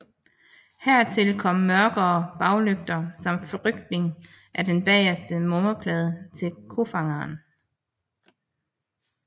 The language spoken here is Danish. Hertil kom mørkere baglygter samt flytning af den bageste nummerplade til kofangeren